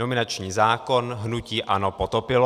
Nominační zákon hnutí ANO potopilo.